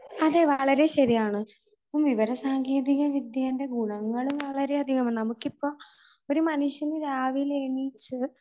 അത് വളരെ ശരിയാണ്. വിവര സാങ്കേതിക വിദ്യയുടെ ഗുണങ്ങൾ വളരെയധികം ആണ്. നമുക്കിപ്പോൾ ഒരു മനുഷ്യന് രാവിലെ എണീച്ച്